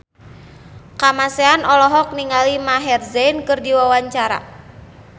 Kamasean olohok ningali Maher Zein keur diwawancara